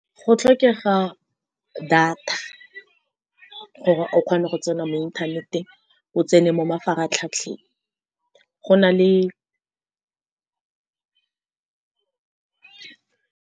Go tlhokega data, gore o kgone go tsena mo inthaneteng. O tsene mo mafaratlhatlheng, go na le.